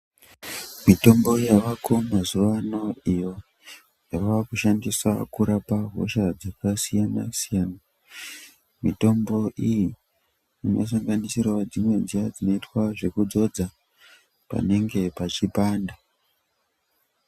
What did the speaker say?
Mitombo yavako mazuvano iyo ,yava kushandisa kurapa hosha dzakasiyana-siyana, mitombo iyi inosanganisirawo dzimwe dziya dzinoyitwa zvokudzodza panenge pachipanda.